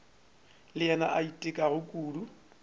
le yena a itekago kudu